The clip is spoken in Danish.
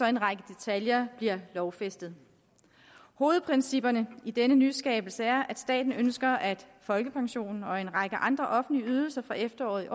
en række detaljer bliver lovfæstet hovedprincippet i denne nyskabelse er at staten ønsker at folkepensionen og en række andre offentlige ydelser fra efteråret